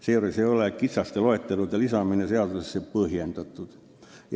Seejuures ei ole kitsaste loetelude lisamine seadusesse põhjendatud.